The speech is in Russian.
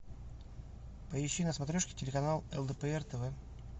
поищи на смотрешке телеканал лдпр тв